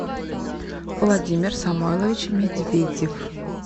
владимир самойлович медведев